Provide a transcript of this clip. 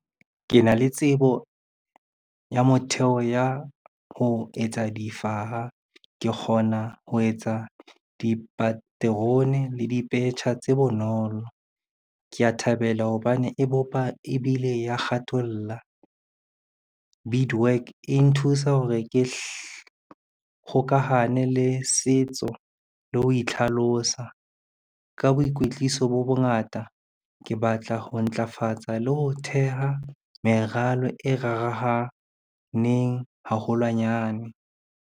Ke na le tsebo ya motheo ya ho etsa difaha. Ke kgona ho etsa dipaterone le dipetjha tse bonolo. Kea thabela hobane e bopa ebile ya kgatholla. Bead work e nthusa hore ke kgokahano le setso le ho itlhalosa. Ka boikwetliso bo bongata, ke batla ho ntlafatsa le ho theha meralo e rarahaneng haholwanyane.